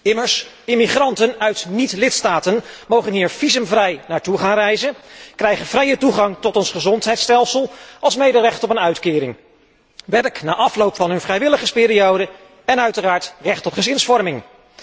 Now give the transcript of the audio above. Immers, immigranten uit niet lidstaten mogen hier visumvrij naartoe gaan reizen, krijgen vrije toegang tot ons gezondheidsstelsel, alsmede recht op een uitkering, werk na afloop van hun vrijwilligersperiode en uiteraard recht op gezinsvorming.